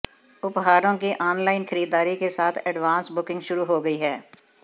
उपहारों की ऑनलाइन खरीददारी के साथ एडवांस बुकिंग शुरू हो गई है